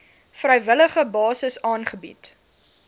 vrywillige basis aangebied